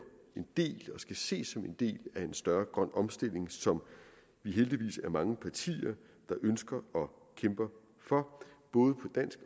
skal ses som en del af en større grøn omstilling som vi heldigvis er mange partier der ønsker og kæmper for både på dansk